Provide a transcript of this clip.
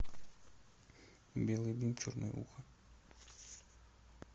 белый бим черное ухо